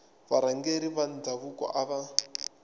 varhangeri va ndhavuko a va